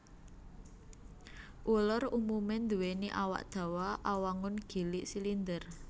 Uler umumé nduwèni awak dawa awangun gilig silinder